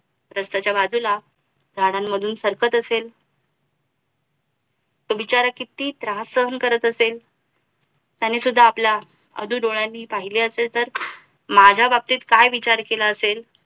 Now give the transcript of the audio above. रस्त्याच्या बाजूला झाडांमधून सरकत असेल तो बिचारा किती त्रास सहन करत असेल त्याने सुद्धा आपल्या आधु डोळ्याने पहिले असेल तर माझ्या बाबतीत काय विचार केला असेल?